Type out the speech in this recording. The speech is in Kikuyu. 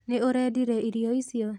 Nĩ ũrendire irio icio?